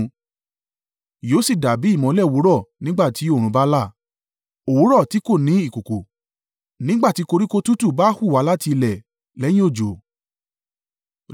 Yóò sì dàbí ìmọ́lẹ̀ òwúrọ̀ nígbà tí oòrùn bá là, òwúrọ̀ tí kò ní ìkùùkuu, nígbà tí koríko tútù bá hù wá láti ilẹ̀ lẹ́yìn òjò.’